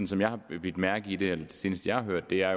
som jeg har bidt mærke i det eller det seneste jeg har hørt er